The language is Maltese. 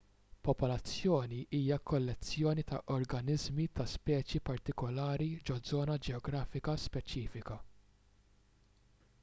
popolazzjoni hija kollezzjoni ta' organiżmi ta' speċi partikulari ġo żona ġeografika speċifika